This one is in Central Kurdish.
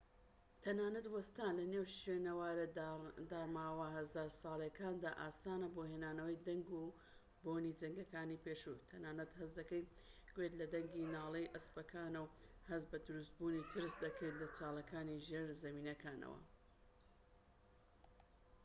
تەنانەت وەستان لەنێو شوێنەوارە داڕماوە هەزار ساڵەییەکاندا ئاسانە بۆ هێنانەوەی دەنگ و بۆنی جەنگەکانی پێشوو تەنانەت هەست دەکەیت گوێت لە دەنگی ناڵەی ئەسپەکانە و هەست بە دروستبوونی ترس دەکەیت لە چاڵەکانی ژێرزەمینەکانەوە